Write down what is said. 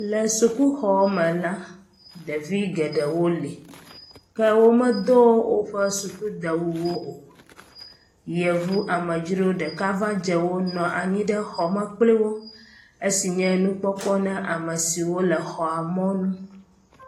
le sukuxɔ me la ɖevi geɖewo li ke wome dó wóƒe suku dewuwo o yevu amedzro ɖeka va dzewo nɔnyi ɖe xɔme kpliwo esi nye nukpɔkpɔ na amesiwo le xɔ mɔnu